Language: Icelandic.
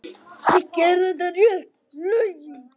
Þú gerir réttu lögin.